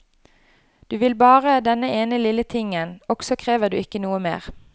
Du vil bare denne ene lille tingen, også krever du ikke noe mer.